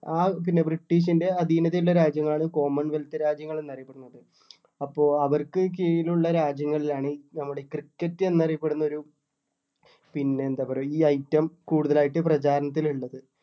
ആ ഇതില് ബ്രിട്ടീഷ്ൻ്റെ അധീനതയിൽ ഉള്ള രാജ്യങ്ങൾ ആണ് common wealth രാജ്യങ്ങൾ എന്ന് അറിയപ്പെടുന്നത്. അപ്പൊ അവർക്ക് കീഴിൽ ഉള്ള രാജ്യങ്ങളിലാണ് നമ്മുടെ cricket എന്ന് അറിയപ്പെടുന്ന ഒരു പിന്നെ എന്താ പറയുക ഈ item കൂടുതൽ ആയിട്ട് പ്രചാരണത്തിൽ ഉള്ളത്.